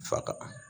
Fa ka